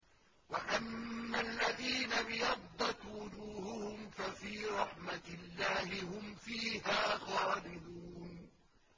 وَأَمَّا الَّذِينَ ابْيَضَّتْ وُجُوهُهُمْ فَفِي رَحْمَةِ اللَّهِ هُمْ فِيهَا خَالِدُونَ